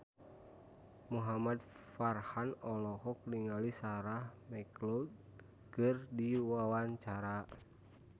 Muhamad Farhan olohok ningali Sarah McLeod keur diwawancara